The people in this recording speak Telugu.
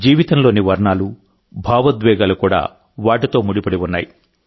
జీవితంలోని వర్ణాలు భావోద్వేగాలు కూడా వాటితో ముడిపడి ఉన్నాయి